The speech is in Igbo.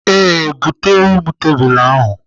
Ee, bụtere m tebụl ahụ.